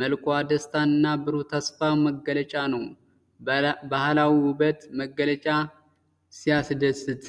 መልኳ የደስታና የብሩህ ተስፋ መገለጫ ነው። የባህላዊ ውበት መግለጫ ሲያስደስት!